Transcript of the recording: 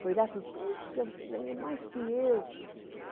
Foi lá e falou, poxa, você ganhou mais que eu.